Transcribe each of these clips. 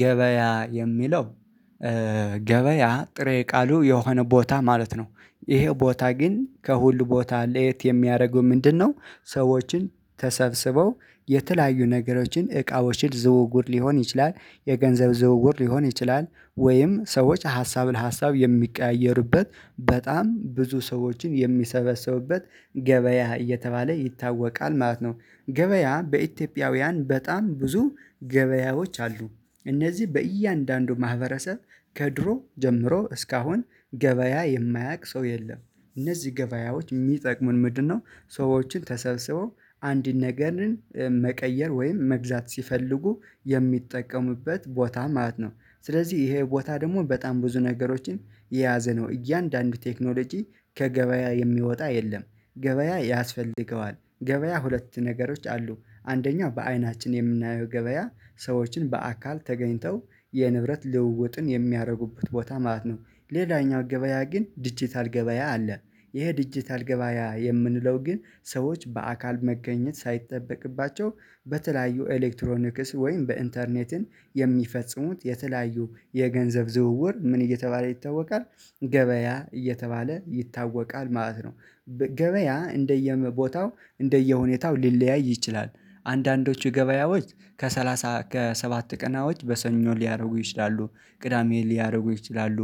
ገበያ የሚለው ገበያ ጥሬ ቃሉ የሆነ ቦታ ማለት ነው ይሄ ቦታ ግን ከሁሉ ቦታ ለየት የሚያደርገው ምንድነው? ሰዎችን ተሰብስበው የተለያዩ ነገሮችን እቃዎችን ዝውውር ሊሆን ይችላል የገንዘብ ዝውውር ሊሆን ይችላል ወይም ሰዎች ሀሳብን ሀሳብ የሚቀያየሩበት በጣም ብዙ ሰዎችን የሚሰበሰቡበት ገበያ እየተባለ ይታወቃል ማለት ነው። ገበያ በኢትዮጵያውያን በጣም ብዙ ገበያዎች አሉ። እነዚህ በእያንዳንዱ ማህበረሰብ ከድሮ ጀምሮ እስካሁን ገበያ የማያውቅ ሰው የለም። እነዚህ ገበያዎች የሚጠቅሙን ምንድነው? ሰዎችን ተሰብስበው አንድን ነገርን መቀየር ወይም መግዛት ሲፈልጉ የሚጠቀሙበት ቦታ ማለት ነው። ስለዚህ ይሄ ቦታ ደግሞ በጣም ብዙ ነገሮችን የያዘ ነው እያንዳንዱ ቴክኖሎጂ ከገበያ የሚወጣ የለም። ገበያ ያስፈልገዋል ገበያ ሁለት ነገሮች አሉ። አንደኛው በአይናችን የምናየው ገበያ ሰዎችን በአካል ተገኝተው የንብረት ልውውጥን የሚያደርጉበት ቦታ ማለት ነው። ሌላኛው ገበያ ግን ዲጂታል ገበያ አለ። ይሄ ዲጂታል ገበያ የምንለው ግን ሰዎች በአካል መገኘት ሳይጠበቅባቸው በተለያዩ ኤሌክትሮኒክስ ወይም በኢንተርኔትን የሚፈጽሙት የተለያዩ የገንዘብ ዝውውር ምን እየተባለ ይታወቃል ገበያ እየተባለ ይታወቃል ማለት ነው። ገበያ እንደየቦታው እንደየሁኔታው ሊለያይ ይችላል። አንዳንዶቹ ገበያዎች ከሰላሳ ከሰባት ቀናዎች በሰኞ ሊያደርጉ ይችላሉ ቅዳሜ ሊያደርጉ ይችላሉ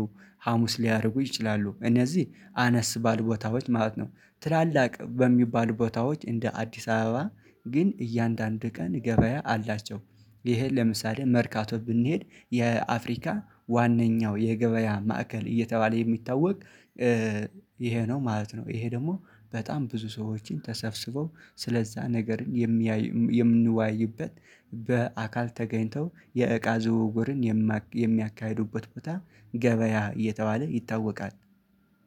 ሀሙስ ሊያደርጉ ይችላሉ እነዚህ አነስ ባሉ ቦታዎች ማለት ነው። ትላልቅ በሚባሉ ቦታዎች እንደ አዲስ አበባ ግን እያንዳንዱ ቀን ገበያ አላቸው። ይሄን ለምሳሌ መርካቶ ብንሄድ የአፍሪካ ዋናኛው የገበያ ማዕከል እየተባለ የሚታወቅ ይሄ ነው ማለት ነው። ይሄ ደግሞ በጣም ብዙ ሰዎችን ተሰብስበው ስለዛ ነገርን የምንዋይበት በአካል ተገኝተው የእቃ ዝውውርን የሚያካሂዱበት ቦታ ገበያ እየተባለ ይታወቃል።